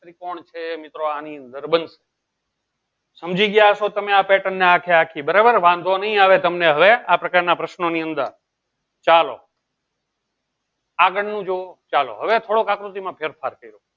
ત્રિકોણ છે. મિત્રો આની અંદર બંદ સમજી ગયા છો તમે આ pattern ને આંખે આખી બરાબર વાંધો નહીં આવે તમને હવે આ પ્રકારના પ્રશ્નોની અંદર ચાલો આગળનું જોવો ચાલો હવે થોડો આકૃતિમાં ફેરફાર કર્યો.